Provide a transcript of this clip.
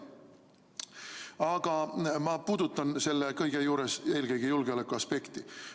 Aga ma puudutan selle kõige juures eelkõige julgeolekuaspekti.